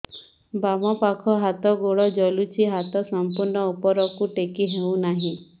ବାମପାଖ ହାତ ଗୋଡ଼ ଜଳୁଛି ହାତ ସଂପୂର୍ଣ୍ଣ ଉପରକୁ ଟେକି ହେଉନାହିଁ